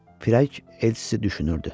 Firəng elçisi düşünürdü.